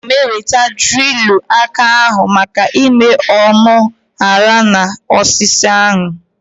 Aga m eweta drilu aka ahu maka ime ọnụ oghere na osisi ahu